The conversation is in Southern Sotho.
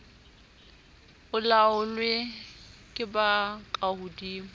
o laolwe ke ba kahodimo